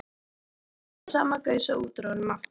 Og nú kom þessi sama gusa út úr honum aftur.